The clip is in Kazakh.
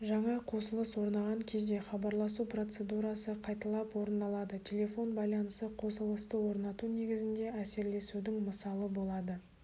жаңа қосылыс орнаған кезде хабарласу процедурасы қайталап орындалады телефон байланысы қосылысты орнату негізінде әсерлесудің мысалы болады